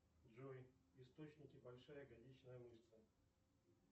джой источники большая ягодичная мышца